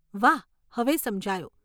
વાહ, હવે સમજાયું.